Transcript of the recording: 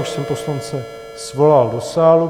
Už jsem poslance svolal do sálu.